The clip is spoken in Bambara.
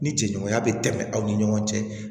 Ni cɛ ɲɔgɔnya bɛ tɛmɛ aw ni ɲɔgɔn cɛ